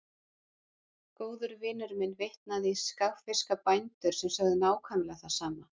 Góður vinur minn vitnaði í skagfirska bændur sem sögðu nákvæmlega það sama.